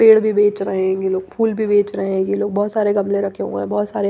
पेड़ भी बेच रहे हैं ये लोग फूल भी बेच रहे हैं ये लोग बहुत सारे गमले रखे हुए हैं बहुत सारे--